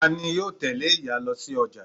Tani yóò tẹ́lé ìyá lo sí ọjà